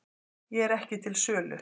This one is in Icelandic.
Ég er ekki til sölu